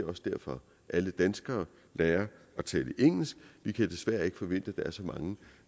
også derfor at alle danskere lærer at tale engelsk vi kan desværre ikke forvente at der er så mange